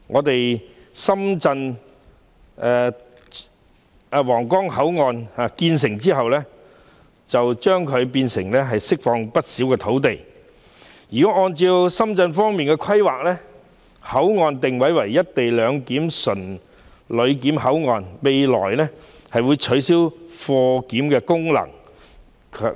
當皇崗口岸完成重建後，將會釋放不少土地，因為按深方的規劃，新皇崗口岸的定位為"一地兩檢"純旅檢口岸，未來將取消口岸的貨檢功能。